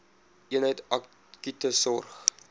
eenheid akute sorg